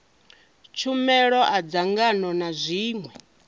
tshumelo a dzangano na zwiṅwe